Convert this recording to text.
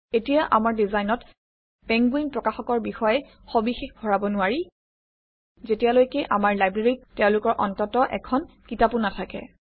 এতিয়া আমাৰ ডিজাইনত পেংগুইন প্ৰকাশকৰ বিষয়ে সবিশেষ ভৰাব নোৱাৰি যেতিয়ালৈকে আমাৰ লাইব্ৰেৰীত তেওঁলোকৰ অন্ততঃ এখন কিতাপো নাথাকে